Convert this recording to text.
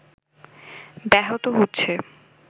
ব্যাহত হচ্ছে